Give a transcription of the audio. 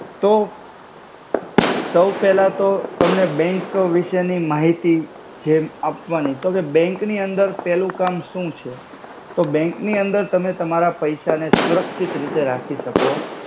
તો સૌપેલા તો બેંક વિસે ની માહિતિ જે આપવાની તો બેંક ની અંદર પેલુ કામ સુ છે. તો બેંક નિ અંદર તમે તમારા પૈસા ને સુરક્શિત રિતે રાખી સકો